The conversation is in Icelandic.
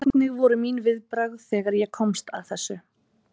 Hvernig voru mín viðbrögð þegar ég komst að þessu?